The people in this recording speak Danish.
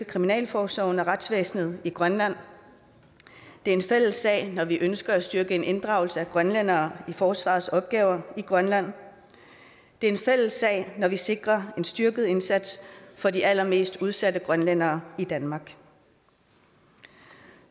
kriminalforsorgen og retsvæsenet i grønland det er en fælles sag når vi ønsker en styrket inddragelse af grønlændere i forsvarets opgaver i grønland det er en fælles sag når vi sikrer en styrket indsats for de allermest udsatte grønlændere i danmark